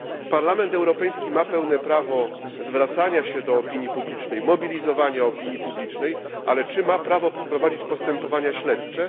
Parlament Europejski ma pełne prawo zwracania się do opinii publicznej, mobilizowania opinii publicznej, ale czy ma prawo prowadzić postępowania śledcze?